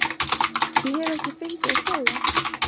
Ég hef ekki fengið að sjá þá.